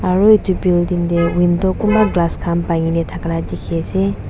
aru edu building tae kunba glass khan bankina thaka la dikhiase.